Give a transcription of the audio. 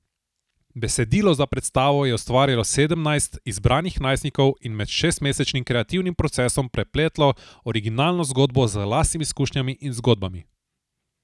Besedilo za predstavo je ustvarjalo sedemnajst izbranih najstnikov in med šestmesečnim kreativnim procesom prepletlo originalno zgodbo z lastnimi izkušnjami in zgodbami.